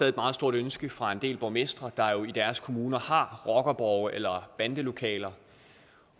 et meget stort ønske fra en del borgmestre der i deres kommuner har rockerborge eller bandelokaler